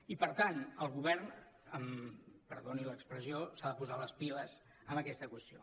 i per tant el govern perdoni l’expressió s’ha de posar les piles en aquesta qüestió